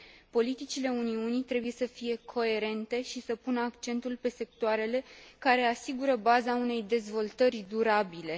Politicile Uniunii trebuie să fie coerente și să pună accentul pe sectoarele care asigură baza unei dezvoltări durabile.